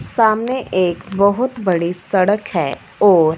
सामने एक बहोत बड़ी सड़क है और --